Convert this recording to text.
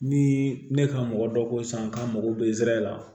Ni ne ka mɔgɔ dɔ ko sisan k'an mago bɛ zɛrɛ la